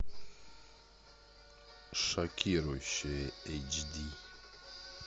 шокирующее эйч ди